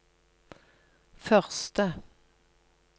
første